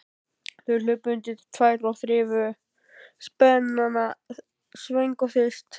Þau hlupu undir þær og þrifu spenana svöng og þyrst.